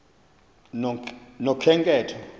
nokhenketho